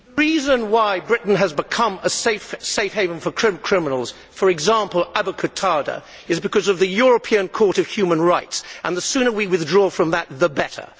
The reason why Britain has become a safe haven for criminals, for example for Abu Qatada, is because of the European Court of Human Rights and the sooner we withdraw from that the better.